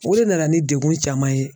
O de nana ni degun caman ye